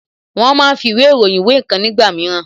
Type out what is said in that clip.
Wón máa ń fi ìwé ìròyìn wé ǹkan nígbà mìíràn